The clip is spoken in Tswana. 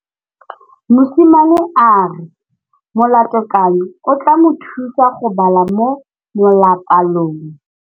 Mosimane a re molatekanyô o tla mo thusa go bala mo molapalong.